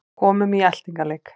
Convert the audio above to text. Komum í eltingaleik